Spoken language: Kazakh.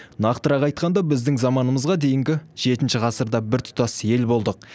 нақтырақ айтқанда біздің заманымызға дейінгі жетінші ғасырда біртұтас ел болдық